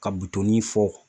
Ka fɔ